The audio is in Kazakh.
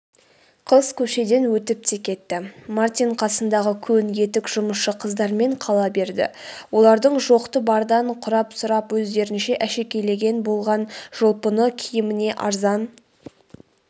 қыз көшеден өтіп те кетті мартин қасындағы көн етік жұмысшы қыздармен қала берді олардың жоқты-бардан құрап-сұрап өздерінше әшекейлеген болған жұпыны киіміне арзан